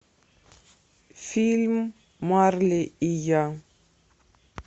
фильм марли и я